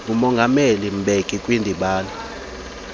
ngumongameli mbeki kwindibano